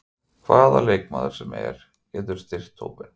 Hvaða leikmaður sem er getur styrkt hópinn.